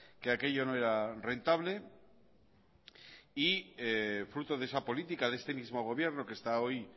que aquello no era rentable y fruto de esa política de este mismo gobierno que está hoy